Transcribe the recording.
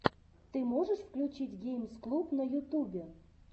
ты можешь включить геймс клуб на ютубе